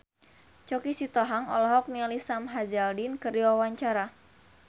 Choky Sitohang olohok ningali Sam Hazeldine keur diwawancara